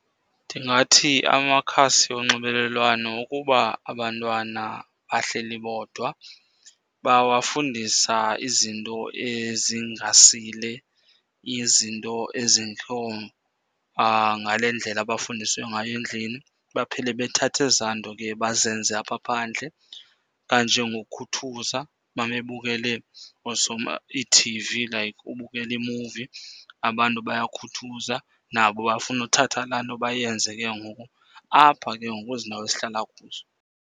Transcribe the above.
Ndingathi amakhasi onxibelelwano ukuba abantwana bahleli bodwa, bawafundisa izinto ezingasile, izinto ezingekho ngale ndlela abafundisiwe ngayo endlini. Baphele bethatha ezaa nto ke bazenze apha phandle. Kanjengokukhuthuza, uma bebukele iithivi like ubukela imuvi, abantu bayakhuthuza, nabo bafune uthatha laa nto bayenze ke ngoku apha ke ngoku kwezindawo esihlala kuzo.